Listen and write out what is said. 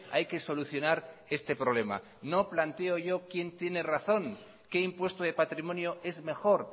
hay que solucionar este problema no planteo yo quién tiene razón qué impuesto de patrimonio es mejor